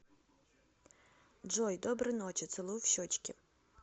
джой доброй ночи целую в щечки